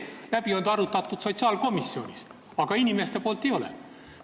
Läbi on ta arutatud sotsiaalkomisjonis, aga rahvas seda teinud ei ole.